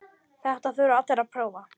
Þetta þurfa allir að prófa.